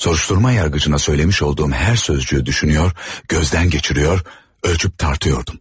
Soruşturma yargıcına söyləmiş olduğum hər sözü düşünür, gözdən keçirir, ölçüb-tartırdım.